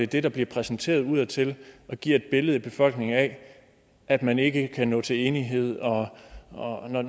det der bliver præsenteret udadtil giver et billede i befolkningen af at man ikke kan nå til enighed og og